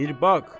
Bir bax.